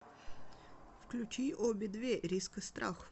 включи обе две риск и страх